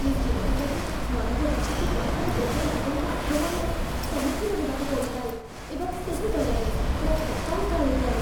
ମୁଁ ଚିନ୍ତିତ ଯେ ମାନବଜାତିକୁ ବାହାର ଗ୍ରହର ଜୀବଙ୍କ ଆକ୍ରମଣର ସମ୍ମୁଖୀନ ହେବାକୁ ପଡ଼ିପାରେ ଏବଂ ସେହି ଡରରେ ମୋ କପାଳ ଝାଳେଇ ଯାଏ।